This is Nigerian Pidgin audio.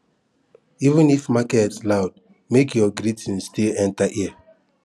even if market loud make your greeting still enter ear